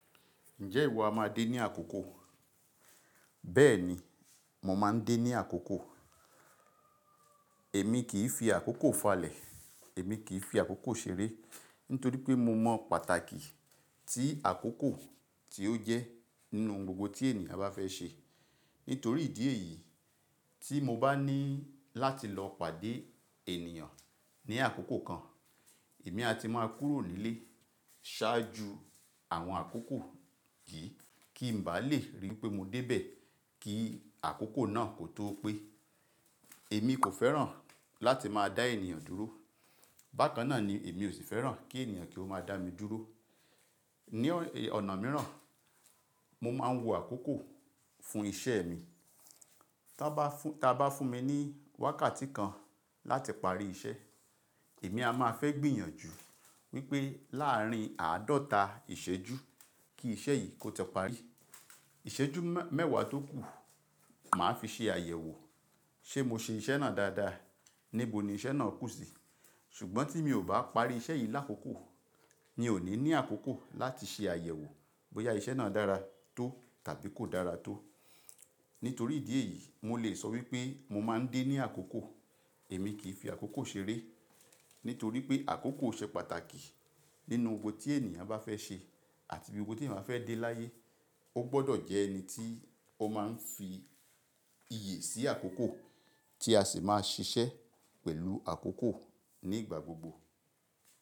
Ǹjẹ́ ìwọ a máa dé ní àkókò? Bẹ́ẹ̀ni, mo máa ń dé ní àkókò. Èmi kì í fi àkókò falẹ̀, èmi kì í fi àkókò ṣeré, nítorí pé mo mọ pàtàkì tí àkókò tí ó jẹ́ nínú ohun gbogbo tí ènìyàn bá fẹ́ ṣe. Nítorí ìdí èyí tí mo bá ní láti lọ pàdé ènìyàn ní àkókò kan, èmi a ti máa kúrò nílé ṣáájú àwọn àkókò yìí kí n bá lè rí wipé mo dé bẹ̀ kí àkókò náà kó tó pé. Èmi kò fẹ́ràn láti máa dá ènìyàn dúró, bákan náà ni èmi ò sì fẹ́ràn kí ènìyàn kí ó máa dá mi dúró. Ni ọ̀nà mìíràn, mo máa ń wo àkókò fún iṣẹ́ mi. Taá bá fún mi ní wákàtí kan láti parí iṣẹ́, èmi a máa fẹ́ gbìyànjú wípé láàrin àádọ́ta ìṣẹ́jú kí iṣẹ́ yìí kó ti parí. Ìṣẹ́jú mẹ́wàá tó kù, màá fi ṣe àyẹ̀wò ṣe mo ṣe iṣẹ́ náà dáadáa, níbo ni iṣẹ́ náà kù sí, ṣùgbọ́n tí mi ò bá parí iṣẹ́ yìí lákókò, mi ò ní ní àkókò láti ṣe àyẹ̀wò bóyá iṣẹ́ náà dára tó tàbí kò dára tó. Nítorí ìdí èyí, mo lè sọ wípé mo máa ń dé ní àkókò. Èmi kì í fi àkókò ṣeré, nítorí pé àkókò ṣe pàtàkì nínú ohun gbogbo tí ènìyàn bá fẹ́ ṣe àti gbogbo tí ènìyàn bá fẹ́ dé láyé. Ó gbọ́dọ̀ jẹ́ ẹni tí ó máa ń fi iyè sí àkókò tí a sì máa ṣiṣẹ́ pẹ̀lú àkókò ní ìgbà gbogbo.